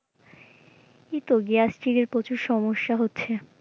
এইতো gastric এর প্রচুর সমস্যা হচ্ছে।